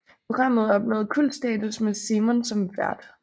Programmet opnåede kultstatus med Simon som vært